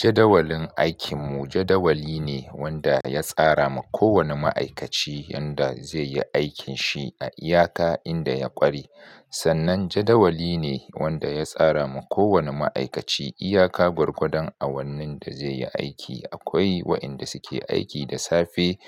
Jadawalin aikinmu jadawali ne wanda ya tsara ma kowani ma'aikaci yadda zai yi aikin shi a iyaka inda ya ƙware. Sannan jadawali ne wanda ya tsara ma kowani ma'aikaci iyaka gurgadan awannin da zai yi aiki. Akwai waɗanda suke aiki da safe